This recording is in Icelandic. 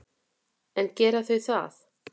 En gera þau það?